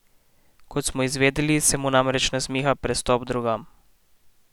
Kot smo izvedeli, se mu namreč nasmiha prestop drugam.